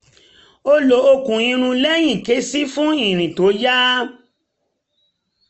ó lo okùn irun lẹ́yìn ké sí i fún ìrìn tó yá